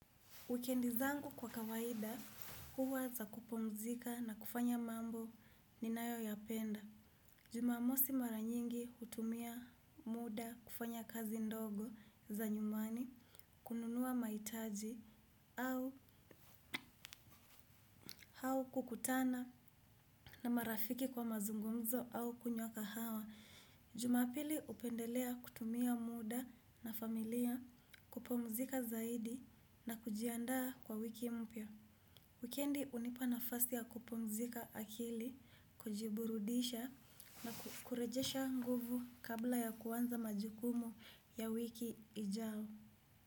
Wikendi zangu kwa kawaida huwa za kupumzika na kufanya mambo ninayoyapenda. Jumamosi mara nyingi hutumia muda kufanya kazi ndogo za nyumbani, kununua mahitaji au au kukutana na marafiki kwa mazungumzo au kunywa kahawa. Jumapili hupendelea kutumia muda na familia kupumzika zaidi na kujiandaa kwa wiki mpya. Wikendi hunipana nafasi ya kupumzika akili, kujiburudisha na kurejesha nguvu kabla ya kuanza majukumu ya wiki ijao.